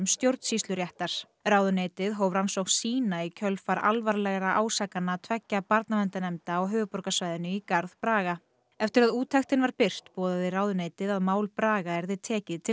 stjórnsýsluréttar ráðuneytið hóf rannsókn sína í kjölfar alvarlegra ásakana tveggja barnaverndarnefnda á höfuðborgarsvæðinu í garð Braga eftir að úttektin var birt boðaði ráðuneytið að mál Braga yrði tekið til